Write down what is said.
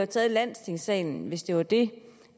taget i landstingssalen hvis det var det